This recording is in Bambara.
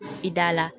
I da la